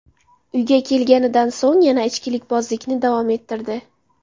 uyga kelganidan so‘ng yana ichkilikbozlikni davom ettirdi.